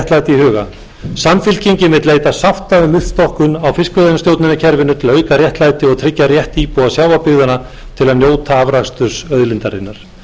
huga samfylkingin vill leita sátta um uppstokkun á fiskveiðistjórnarkerfinu til að auka réttlæti og tryggja rétt íbúa sjávarbyggðanna til að njóta afraksturs auðlindarinnar sömuleiðis vill samfylkingin blása til sóknar